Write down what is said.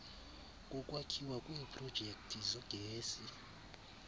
kokwakhiwa kweprojekthi zogesi